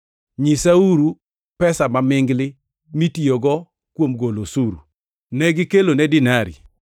Nyisaeuru pesa mamingli mitiyogo kuom golo osuru.” Negikelone dinari,